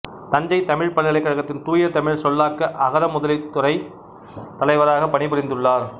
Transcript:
தஞ்சைத் தமிழ்ப் பல்கலைக்கழகத்தின் தூயதமிழ் சொல்லாக்க அகரமுதலித் துறையின் தலைவராகப் பணிபுரிந்துள்ளார்